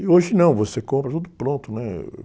E hoje não, você compra tudo pronto, né?